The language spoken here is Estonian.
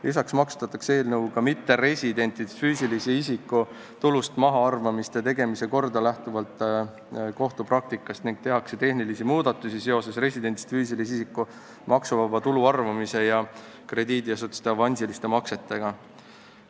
Lisaks muudetakse eelnõuga mitteresidendist füüsilise isiku tulust mahaarvamiste tegemise korda lähtuvalt kohtupraktikast ning tehakse tehnilisi muudatusi seoses residendist füüsilise isiku maksuvaba tulu arvutamise ja krediidiasutuste avansiliste maksetega.